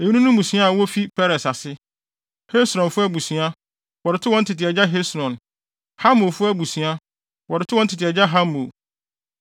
Eyinom ne mmusua a wofi Peres ase. Hesronfo abusua, a wɔde too wɔn tete agya Hesron; Hamulfo abusua, wɔde too wɔn tete agya Hamul.